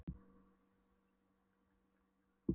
Það glaðnaði yfir henni við að rifja upp liðnar hamingjustundir.